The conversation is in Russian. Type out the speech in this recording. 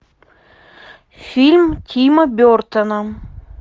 фильм тима бертона